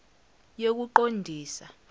yokuqondisa